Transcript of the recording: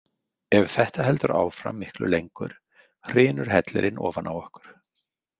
Ef þetta heldur áfram miklu lengur hrynur hellirinn ofan á okkur.